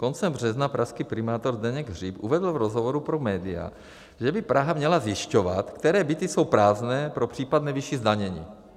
Koncem března pražský primátor Zdeněk Hřib uvedl v rozhovoru pro média, že by Praha měla zjišťovat, které byty jsou prázdné pro případné vyšší zdanění.